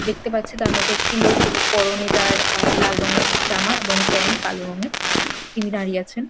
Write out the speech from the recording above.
দেখতে পাচ্ছে তার মধ্যে একটি লোক ও পরনে তার আ লাল রঙের জামা এবং প্যান্ট কালো রঙের তিনি দাঁড়িয়ে আছেন।